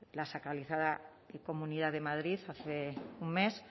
la sacralizada comunidad de madrid hace un mes